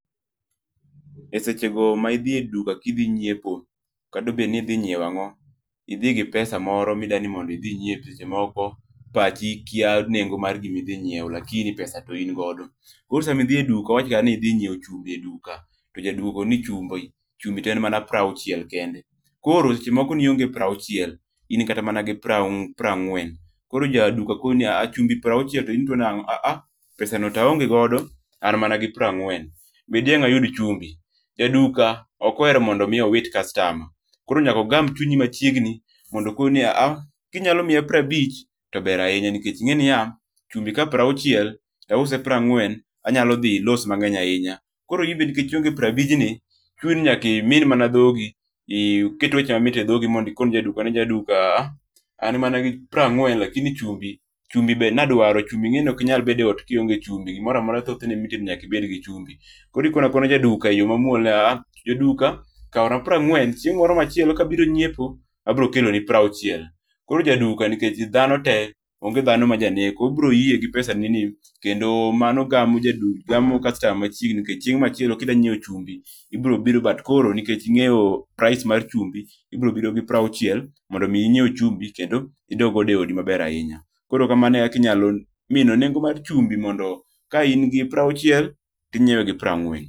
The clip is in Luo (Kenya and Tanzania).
e seche go ma idhi e duka kidhi nyieo ka obedo ni idhi nyiewo ang'o, idhi gi pesa moro mi dwani mondo idhi nyiepi to seche moko pachi kia nengo mar gima idhi ng'iewo lakini pesa to in godo, koro sam idhi e duka wawach kata ni idhi ng'iewo chumbi e duka to jaduka owacho ni chumbi to en mana piero auchiel kende ,koro seche moko ni ong'e prauchiel in mana gi prangwen, koro jaduka koni chumbi en prauchiel to in ituo nang'o a a pesa no to aonge godo an mana gi prangwen be dang' ayud chumbi? Jaduka ok ohero mar mondo mi owit customer koro nyaka ogam chunyi machiegni mondo okini ni a a kinyalo miya piero abich to ber ahinya nikech ingeni ni a chumbi ka prauchiel tause prangwen, anyalo dhi loss mang'eny ahinya ,koro in be nikech ionge proabijni, chuni ni nyaka imin mana dhogi iket weche mamit e dhogi ikone ja duka ni jaduka a a an mana gi proangwen lakini chumbi [R]chumbi [R] be nadwaro, chumbi ingeni ok inyal bet e ot ka ionge chumbi gimoro amora thothne ma itedo nyaka ibed gi chumbi, koro ikono akaona ja duka e yo manuol ni a a jaduka kawna proangwen chieng moro machielo ka abiro nyiepo ,abiro keloni piero auchiel, koro jaduka nikech dhano te ong'e dhano ma janeko, obiro yie gi pesa ni ni, kendo mano gamo customer machiegni nikech chieng machielo kidwa ng'iewo chumbi ibiro biro but koro nikech ing'eyo price mar chumbi, ibro biro gi proauchiel mondo mi inyiew chumbi kendo idog godo e odi maber ahinya, koro kamano e kaka inyalo mino nengo mar chumbi mondo ka in gi pro auchiel to ingiewe gi proangwen.